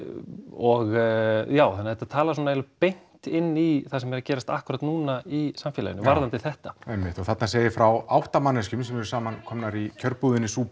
og já þannig að þetta talar eiginlega beint inn í það sem er að gerast akkúrat núna í samfélaginu varðandi þetta einmitt og þarna segir frá átta manneskjum sem eru samankomnar í kjörbúðinni